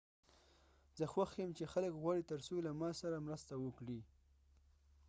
زه خوښ یم چې خلک غواړي ترڅو له ما سره مرسته وکړي